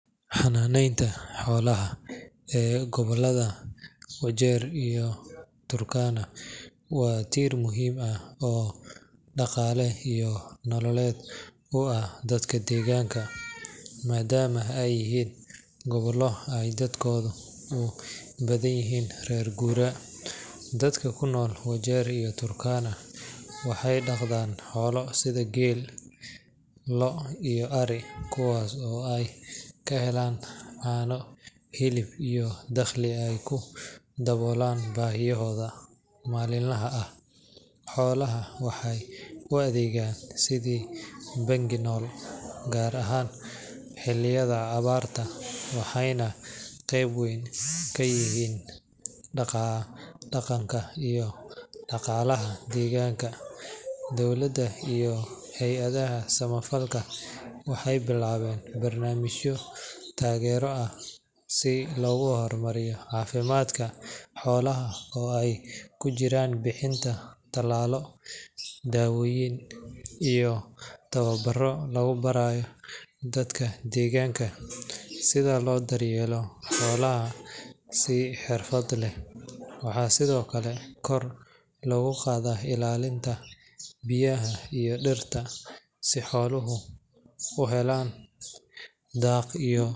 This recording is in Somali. Xanaaneynta xoolaha ee gobollada Wajeer iyo Turkana waa tiir muhiim ah oo dhaqaale iyo nololeed u ah dadka deegaanka, maadaama ay yihiin gobollo ay dadkoodu u badan yihiin reer guuraa. Dadka ku nool Wajeer iyo Turkana waxay dhaqdaan xoolo sida geel, lo’, iyo ari, kuwaas oo ay ka helaan caano, hilib, iyo dakhli ay ku daboolaan baahiyahooda maalinlaha ah. Xoolaha waxay u adeegaan sidii bangi nool, gaar ahaan xilliyada abaarta, waxayna qeyb weyn ka yihiin dhaqanka iyo dhaqaalaha deegaanka. Dowladda iyo hay’adaha samafalka waxay bilaabeen barnaamijyo taageero ah si loo horumariyo caafimaadka xoolaha, oo ay ku jiraan bixinta tallaallo, daawooyin, iyo tababaro lagu barayo dadka deegaanka sida loo daryeelo xoolaha si xirfad leh. Waxaa sidoo kale kor loo qaaday ilaalinta biyaha iyo dhirta si xooluhu u helaan daaq iyo.